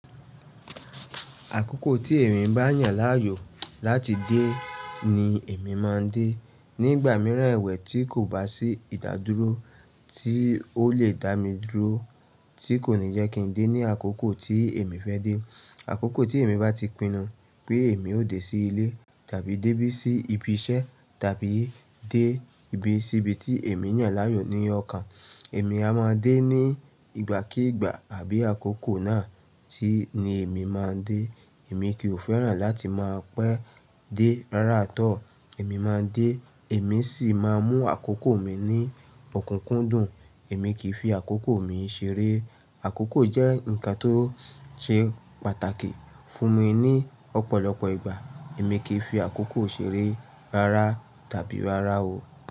Àkókò tí èmi bá yàn láàyò láti dé ni èmi má a n dé. Ní ìgbà mìíràn èwè tí kò bá sí ìdádúró tí ó lè dá mi dúró tí kò ní jẹ́ kí n dé ní àkókò tí èmi fẹ́ dé. Àkókò tí èmi bá ti pinnu pé èmi ó dé sí ilé tàbí dé bí i sí ibi iṣẹ́ tàbí dé ibi síbi tí èmi yàn láàyò ní ọkàn, èmi a má a dé ní ìgbàkíìgbà àbí àkókò náà tí ni èmi má a dé. Èmi kì í fẹ́ràn láti má a pẹ́ dé rárátọ, èmi má a dé, èmi sì má a mú àkókò mi ní ọ̀kúnkúndùn, èmi kì í fi àkókò mi ṣeré. Àkókò jẹ́ nǹkan tó ṣe pàtàkì fún mi ní ọ̀pọ̀lọpọ̀ ìgbà, èmi kì í fi àkókò ṣeré rárá tàbí rárá o.